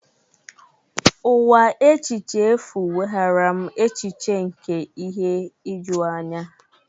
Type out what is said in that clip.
Ụwa echiche efu weghaara m echiche nke ihe ijuanya.